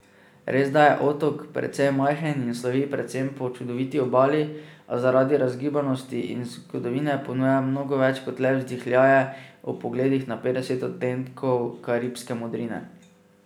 Resda je otok precej majhen in slovi predvsem po čudoviti obali, a zaradi razgibanosti in zgodovine ponuja mnogo več kot le vzdihljaje ob pogledih na petdeset odtenkov karibske modrine.